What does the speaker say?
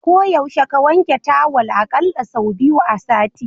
Ko yaushe ka wanke tawal a ƙalla sau biyu a sati.